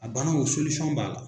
A banaw b'a la